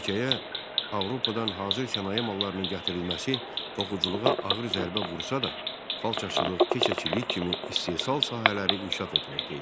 Ölkəyə Avropadan hazır sənaye mallarının gətirilməsi toxuculuğa ağır zərbə vursa da, xalçaçılıq, keçəçilik kimi istehsal sahələri inkişaf etməkdə idi.